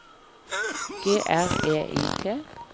G R E I T